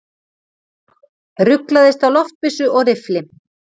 Ruglaðist á loftbyssu og riffli